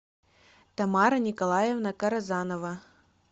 тамара николаевна карзанова